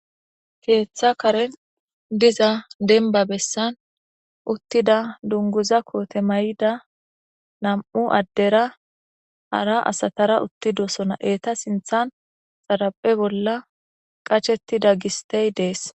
keeththa karen diza denba bessan uttida dunguza koote may7ida nam7u addera ara asatara uttidosona eeta sinthan xaraphe bolla qachettida gistey dees